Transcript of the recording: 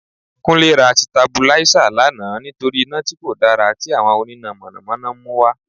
Kúnlé ra Sitabuláísà lánàá nítorí iná tí kò dára tí àwọn oníná Mọ̀nà Mọ̀nà ń mú wá